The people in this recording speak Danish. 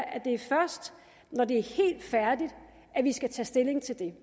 at det er først når det er helt færdigt at vi skal tage stilling til det